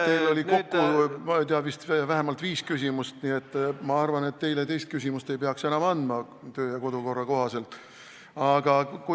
Teil oli kokku, ma ei tea, vist vähemalt viis küsimust, nii et ma arvan, et teile teist küsimust kodu- ja töökorra kohaselt enam andma ei peaks.